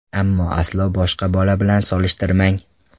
Ammo aslo boshqa bola bilan solishtirmang.